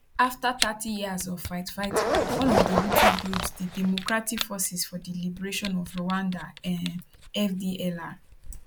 afta thirty years of fightfight one of di hutu groups di democratic forces for di liberation of rwanda um fdlr